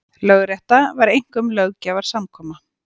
Lögrétta var einkum löggjafarsamkoma.